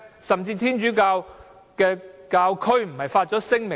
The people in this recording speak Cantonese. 甚至天主教教區不也發出了聲明嗎？